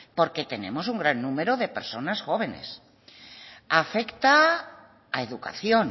porque tenemos un gran número de personas jóvenes afecta a educación